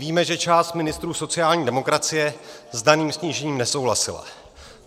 Víme, že část ministrů sociální demokracie s daným snížením nesouhlasila.